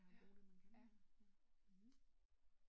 Ja, og bruge det man kan ja